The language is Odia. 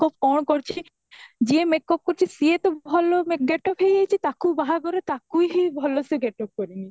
ଆଉ କଣ କରିଛି ? ଯିଏ makeup କରୁଛି ସିଏ ତୋ ଭଲ ରେ gateup ହେଈଯାଇଛି ତାକୁ ବାହଘର ତାକୁ ହିଁ ଭଲ ସେ gateup କରିନି